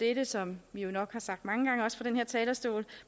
er som vi nok har sagt mange gange også fra den her talerstol